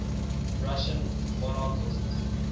russian monarchists